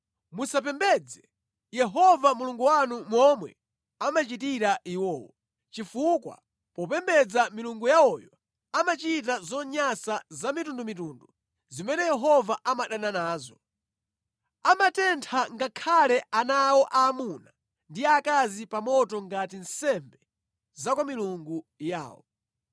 Musapembedze Yehova Mulungu wanu momwe amachitira iwowo, chifukwa popembedza milungu yawoyo amachita zonyansa zamitundumitundu zimene Yehova amadana nazo. Amatentha ngakhale ana awo aamuna ndi aakazi pa moto ngati nsembe za kwa milungu yawo.